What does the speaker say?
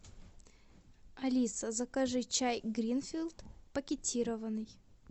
алиса закажи чай гринфилд пакетированный